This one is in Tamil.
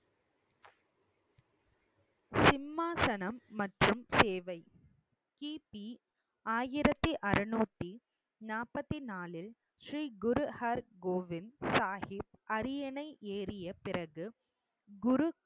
சிம்மாசனம் மற்றும் சேவை கிபி ஆயிரத்தி அறநூத்தி நாப்பத்தி நாளில் ஸ்ரீ குரு அர் கோவிந்த் சாகிப் அரியணை ஏறிய பிறகு குரு